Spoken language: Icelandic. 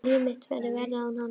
Að líf mitt verði verra án hans.